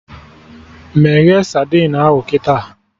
Meghee sadin ahụ kịta!